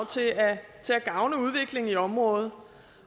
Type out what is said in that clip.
til at gavne udviklingen i området